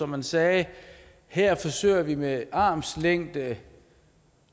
man sagde her forsøger vi med armslængde